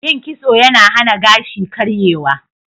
Yin kitso yana hana gashi karyewa.